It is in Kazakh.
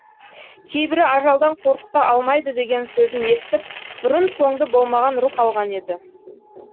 кейбірі ажалдан қорқыта алмайды деген сөзін естіп бұрын соңды болмаған рух алған еді